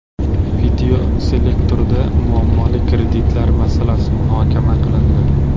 Videoselektorda muammoli kreditlar masalasi muhokama qilindi.